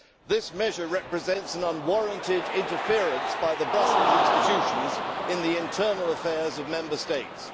This measure represents an unwarranted interference by the Brussels institutions in the internal affairs of Member States.